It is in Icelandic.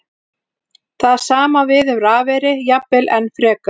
Það sama á við um rafeyri, jafnvel enn frekar.